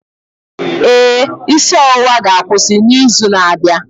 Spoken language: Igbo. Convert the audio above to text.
Ee, isi ọwụwa ga-akwụsị n'izu na-abịa.